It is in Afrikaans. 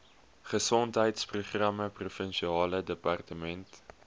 gesondheidsprogramme provinsiale departement